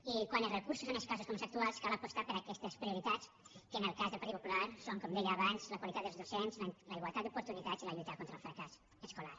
i quan els recursos són escassos com els actuals cal apostar per aquestes prioritats que en el cas del partit popular són com deia abans la qualitat dels docents la igualtat d’oportunitats i la lluita contra el fracàs escolar